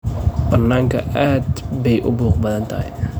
Baananka aad bay u buuq badan tahay.